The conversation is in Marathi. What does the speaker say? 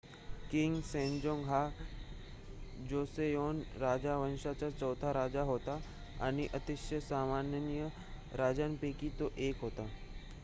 किंग सेजोंग हा जोसेओन राजवंशाचा चौथा राजा होता आणि अतिशय सन्माननीय राजांपैकी तो 1 होता